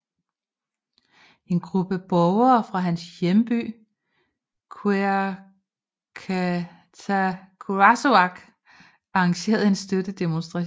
En gruppe borgere fra hans hjemby Qeqertarsuaq arrangerede en støttedemostration